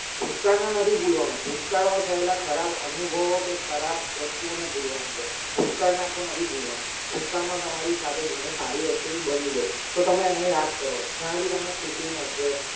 ભૂતકાળના નથી બોલવાનું ભૂતકાળમાં થયેલા ખરાબ અનુભવો કે ખરાબ વસ્તુઓને ભૂલવાની છે ભૂતકાળ નાખવો નથી બોલવાનો ભૂતકાળમાં તમારી સાથે ઘણું સારી વસ્તુ બી બની છે તો તમે એને યાદ કરો જેના થી તમને ખુશી મળશે